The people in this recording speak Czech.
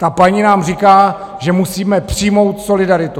Ta paní nám říká, že musíme přijmout solidaritu.